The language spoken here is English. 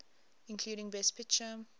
including best picture